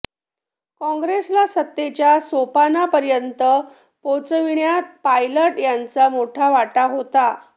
काँग्रेसला सत्तेच्या सोपानापर्यंत पोहोचविण्यात पायलट यांचा मोठा वाटा होता